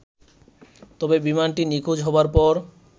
তবে বিমানটি নিখোঁজ হবার পর